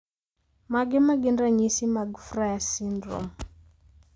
Mage magin ranyisi mag Frias syndrome?